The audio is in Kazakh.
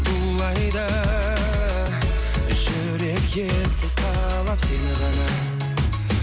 тулайды жүрек ессіз қалап сені ғана